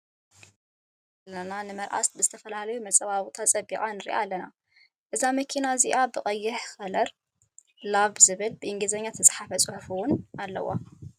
ኣብዚ ምስሊ እዚ እንሪኦ ዘለና ንመርዓ ብዝተፈላለዩ መፀባበቂታት ፀቢቃ ንርኣ ኣለና። እዛ መኪና እዚኣ ብቀይሕ ከለር ላቭ ዝብል ብእንግሊዝተፃሓፈ ፁሑፍ እውን እኒአዋ።